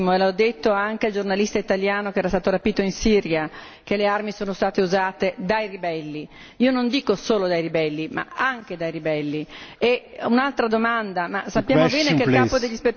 Sappiamo benissimo come ha detto anche il giornalista italiano che era stato rapito in Siria che le armi sono state usate dai ribelli, non dico solo dai ribelli, ma anche da questi.